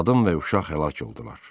Qadın və uşaq həlak oldular.